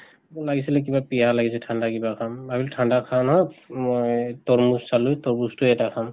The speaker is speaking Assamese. লাগিছিলে কিবা পিয়াহ লাগিছে, ঠান্দা কিবা খাম ভাবিলো ঠান্দা খা নহওঁক ম-ই এহ তৰ্মুজ চালো, তৰ্মুজতো এটা খাম